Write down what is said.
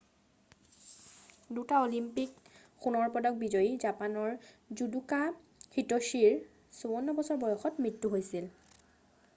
2টা অলিম্পিক সোণৰ পদক বিজয়ী জাপানৰ জুদোকা হিত্যশিৰ 54 বছৰ বয়সত মৃত্যু হৈছিল